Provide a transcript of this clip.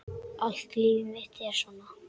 Allt líf mitt er svona!